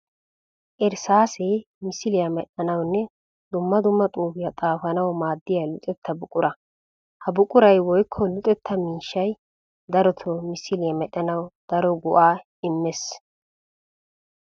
Irssaase misiliya medhdhanawunne dumma dumma xuufiya xaafanawu maadiya luxetta buqura. Ha buquray woykko luxetta miishshay darotto msiliya medhdhanawu daro go'a immees.